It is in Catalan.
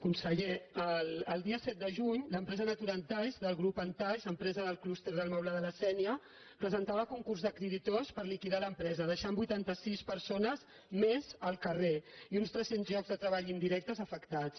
conseller el dia set de juny l’empresa naturantaix del grup antaix empresa del clúster del moble de la sé·nia presentava concurs de creditors per liquidar l’em·presa deixant vuitanta·sis persones més al carrer i uns tres·cents llocs de treball indirecte afectats